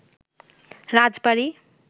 রাজবাড়ী